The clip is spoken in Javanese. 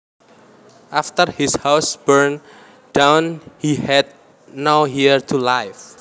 After his house burned down he had nowhere to live